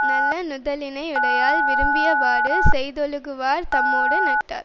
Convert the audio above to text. நல்ல நுதலினை யுடையாள் விரும்பியவாறு செய்தொழுகுவார் தம்மோடு நட்டார்